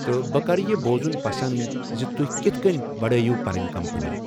تہٕ، 'بہٕ کرٕ یہِ بوزُن پسند زِ تۄہہِ کِتھ کٔنۍ پڑٲوٕو پنٕنۍ کمپنی!